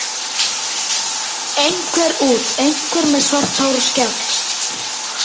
Einhver út, einhver með svart hár og skegg.